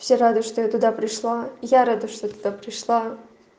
я рада что я туда пришла я рада что туда пришла